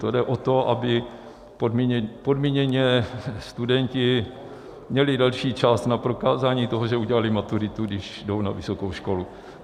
To jde o to, aby podmíněně studenti měli delší čas na prokázání toho, že udělali maturitu, když jdou na vysokou školu.